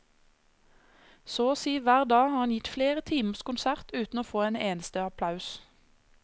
Så å si hver dag har han gitt flere timers konsert uten å få en eneste applaus.